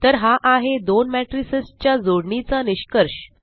तर हा आहे दोन मेट्रिसस च्या जोडणीचा निष्कर्ष